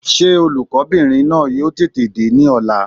Sé olùkó bìnrin náà yóò tètè dé ní ọ̀la?